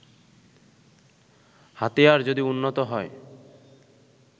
হাতিয়ার যদি উন্নত হয়